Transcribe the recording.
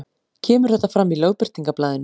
Kemur þetta fram í Lögbirtingablaðinu